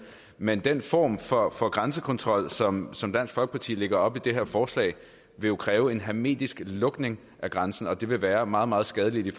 men den form for for grænsekontrol som som dansk folkeparti lægger op til i det her forslag vil jo kræve en hermetisk lukning af grænsen og det vil være meget meget skadeligt i